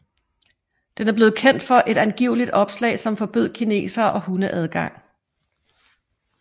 Den er blevet kendt for et angivelig opslag som forbød kinesere og hunde adgang